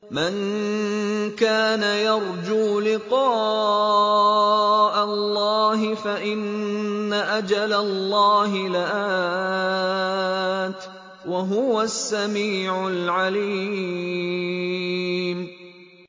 مَن كَانَ يَرْجُو لِقَاءَ اللَّهِ فَإِنَّ أَجَلَ اللَّهِ لَآتٍ ۚ وَهُوَ السَّمِيعُ الْعَلِيمُ